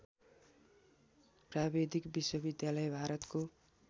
प्राविधिक विश्वविद्यालय भारतको